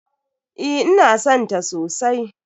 Eh ina san ta sosai.